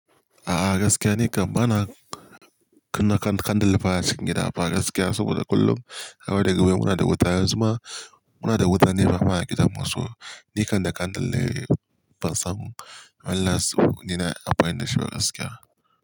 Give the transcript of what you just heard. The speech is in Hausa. A'a gaskiya ni kam ba na kunna kan candle baya cikin gida a fa gaskiya saboda kullum har wa daga baya muna da wuta yanzu ma muna da wuta ne fa baya gidanmu so ni kande kandle fasalin when last ni na yi amfani da shi ba gaskiya.